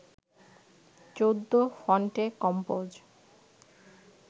চৌদ্দ ফন্টে কম্পোজ